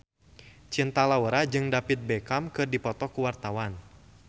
Cinta Laura jeung David Beckham keur dipoto ku wartawan